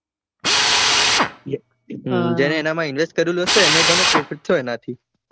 જેને એનામાં invest એને થયો એનાથી હા ફાયદો થયો હશે.